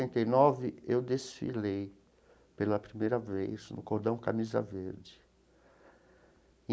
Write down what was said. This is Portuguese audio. e nove eu desfilei pela primeira vez no Cordão Camisa Verde.